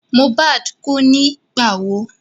Mohbad kú nígbà wo?